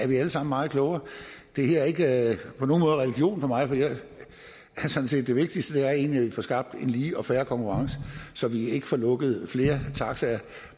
vi alle sammen meget klogere det her er ikke på nogen måde religion for mig for det vigtigste er egentlig at vi får skabt en lige og fair konkurrence så vi ikke får lukket flere taxaer